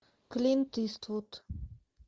клинт иствуд